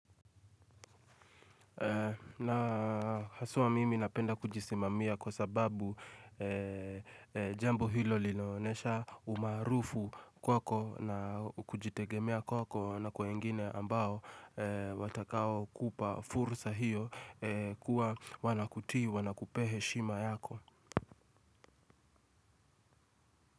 Na haswa mimi napenda kujisimamia kwa sababu jambo hilo linaonyesha umaarufu kwako na kujitegemea kwako na kwa wengine ambao watakao kupa fursa hiyo kuwa wana kutii wana kupee heshima yako.